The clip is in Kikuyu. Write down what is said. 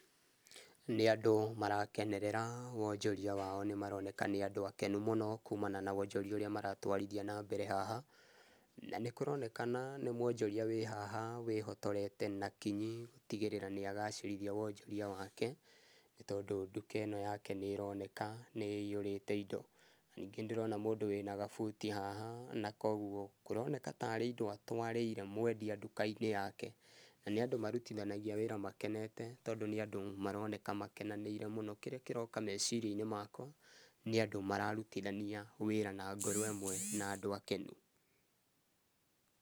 Nĩ andũ marakenerera wonjoria wao nĩ maroneka nĩ andũ akenu mũno kumana na wonjoria ũrĩa maratwarithia na mbere haha. Na nĩkũronekana nĩ mwonjoria wĩ haha wĩhotorete na kinyi gũtĩgĩrĩra nĩ agacĩrithia wonjoria wake nĩ tondũ nduka ĩno yake nĩ ĩroneka nĩ ĩiyũrĩte indo. Na ningĩ nĩndĩrona mũndũ wĩna kabuti haha na koguo kũroneka ta arĩ indo atũarĩire mwendia nduka-inĩ yake na nĩ andũ marũtithanagia wĩra makenete tondũ nĩ andũ maroneka makenanĩire mũno. Kĩrĩa kĩroka meciria-inĩ makwa, nĩ andũ mararutithania wĩra na ngoro ĩmwe na andũ akenu.